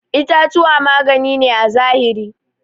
itatuwa magani ne à zahiri.